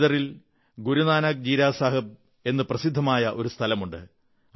ബീദറിൽ ഗുരുനാനക് ജീരാ സാഹബ് എന്നു പ്രസിദ്ധമായ ഒരു സ്ഥലമുണ്ട്